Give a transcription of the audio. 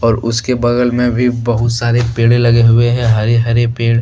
और उसके बगल में भी बहुत सारे पेड़े लगे हुए हैं हरे हरे पेड़ --